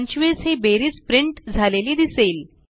25 ही बेरीज प्रिंट झालेली दिसेल